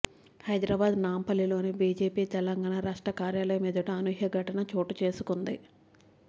హైదరాబాద్ నాంపల్లిలోని బీజేపీ తెలంగాణ రాష్ట్ర కార్యాలయం ఎదుట అనూహ్య ఘటన చోటుచేసుకుంది